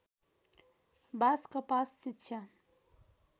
बास कपास शिक्षा